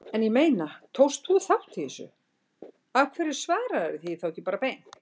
En ég meina, tókst þú þátt í þessu, af hverju svararðu því ekki bara beint?